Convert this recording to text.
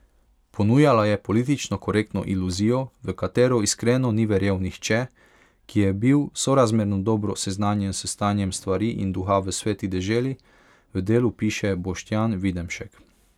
Ponujala je politično korektno iluzijo, v katero iskreno ni verjel nihče, ki je bil sorazmerno dobro seznanjen s stanjem stvari in duha v Sveti deželi, v Delu piše Boštjan Videmšek.